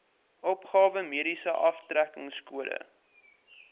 opgawe mediese aftrekkingskode